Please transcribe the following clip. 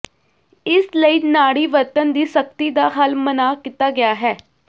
ਇਸ ਲਈ ਨਾੜੀ ਵਰਤਣ ਦੀ ਸਖ਼ਤੀ ਦਾ ਹੱਲ ਮਨ੍ਹਾ ਕੀਤਾ ਗਿਆ ਹੈ